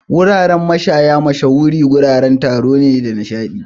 Wuraren mashaya mashahuran wuraren taro ne da nishaɗi.